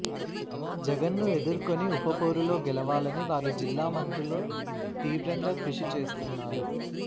జగన్ను ఎదుర్కొని ఉప పోరులో గెలవాలని వారు జిల్లా మంత్రుల తీవ్రంగా కృషి చేస్తున్నారు